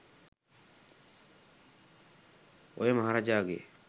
ඔය මහරජාගේ